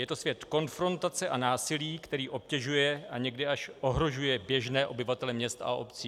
Je to svět konfrontace a násilí, který obtěžuje a někdy až ohrožuje běžné obyvatele měst a obcí.